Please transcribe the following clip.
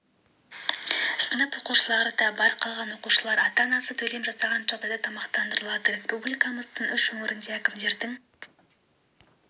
сынып оқушылары да бар қалған оқушылар ата-анасы төлем жасаған жағдайда тамақтандырылады республикамыздың үш өңірінде әкімдердің